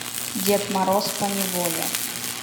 дед мороз поневоле